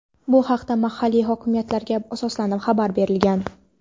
Bu haqda mahalliy hokimiyatlarga asoslanib xabar berilgan.